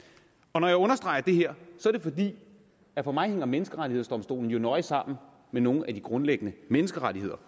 når jeg understreger det her er det fordi at for mig hænger menneskerettighedsdomstolen nøje sammen med nogle af de grundlæggende menneskerettigheder